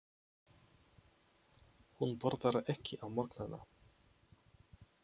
Hún borðar ekki á morgnana.